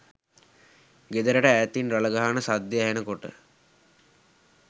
ගෙදරට ඈතින් රළ ගහන සද්දෙ ඇහෙන කොට